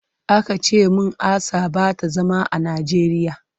Aka ce min Asa ba ta zama a Najeriya.